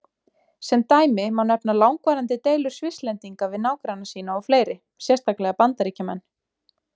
Sem dæmi má nefna langvarandi deilur Svisslendinga við nágranna sína og fleiri, sérstaklega Bandaríkjamenn.